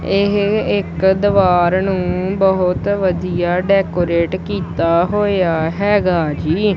ਇਹ ਇੱਕ ਦਵਾਰ ਨੂੰ ਬਹੁਤ ਵਧੀਆ ਡੈਕੋਰੇਟ ਕੀਤਾ ਹੋਇਆ ਹੈਗਾ ਜੀ।